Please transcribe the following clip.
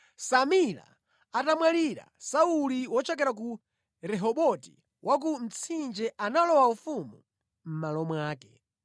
Samila atamwalira, Sauli wochokera ku Rehoboti wa ku Mtsinje analowa ufumu mʼmalo mwake.